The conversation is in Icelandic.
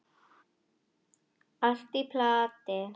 Allt í plati.